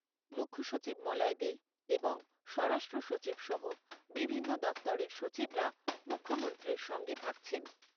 মুখ্যসচিব মলয় দে এবং স্বরাষ্ট্র সচিব সহ বিভিন্ন দফতরের সচিবরা মুখ্যমন্ত্রীর সঙ্গে থাকছেন।